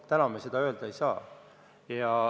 Täna me seda öelda ei saa.